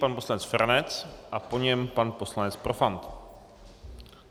Pan poslanec Feranec a po něm pan poslanec Profant.